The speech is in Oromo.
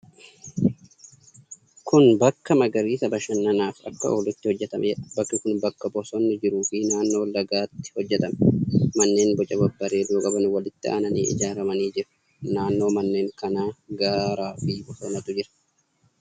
Kun bakka magariisa bashannanaaf akka oolutti hojjetameedha. Bakki kun bakka bosonni jiruu fi naannoo lagaatti hojjetame. Manneen boca babbareedoo qaban walitti aananii ijaaramanii jiru. Naannoo manneen kanaa gaaraa fi bosonatu jira.